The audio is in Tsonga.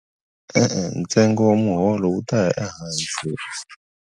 E-e ntsengo wa muholo wu ta ya ehansi.